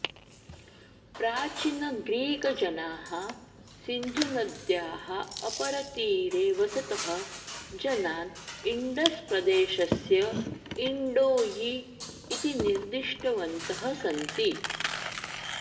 प्राचीनग्रीकजनाः सिन्धुनद्याः अपरतीरे वसतः जनान् इण्डस् प्रदेशस्य इण्डोयी इति निर्दिष्टवन्तः सन्ति